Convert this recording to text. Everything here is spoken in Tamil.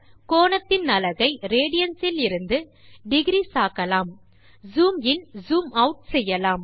கோணத்தின் அலகை ரேடியன்ஸ் இலிருந்து டிக்ரீஸ் ஆக்கலாம் ஜூம் இன் ஜூம் ஆட் செய்யலாம்